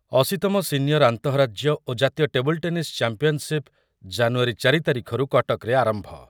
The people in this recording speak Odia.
ଅଶୀ ତମ ସିନିୟର୍ ଆନ୍ତଃରାଜ୍ୟ ଓ ଜାତୀୟ ଟେବୁଲ୍‌ ଟେନିସ୍ ଚାମ୍ପିୟନ୍‌ସିପ୍ ଜାନୁୟାରୀ ଚାରି ତାରିଖରୁ କଟକରେ ଆରମ୍ଭ ।